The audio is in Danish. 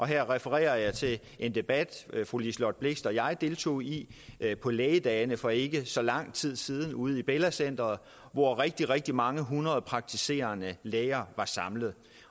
her refererer jeg til en debat fru liselott blixt og jeg deltog i på lægedagene for ikke så lang tid siden ude i bella center hvor rigtig rigtig mange hundrede praktiserende læger var samlet